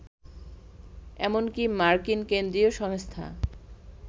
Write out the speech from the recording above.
এমনকী মার্কিন কেন্দ্রীয় সংস্থা